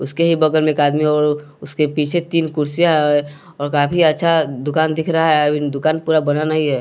उसके ही बगल में एक आदमी और उसके पीछे तीन कुर्सियां है और काफी अच्छा दुकान दिख रहा है अभी दुकान पूरा बना नहीं है।